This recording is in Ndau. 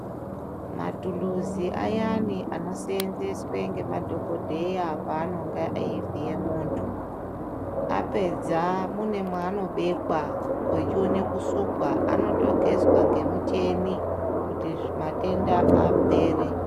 Mathuluzi ayani anoseenzeswe ngemadhokodheya paanonga eivhiye muntu. Apedza mune mwaanobekwa ochione kusukwa, anotogezwa ngemucheni kuti matenda apere.